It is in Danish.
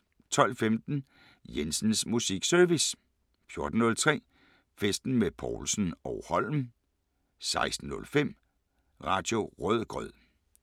12:15: Jensens Musikservice 14:03: Festen med Povlsen & Holm 16:05: Radio Rødgrød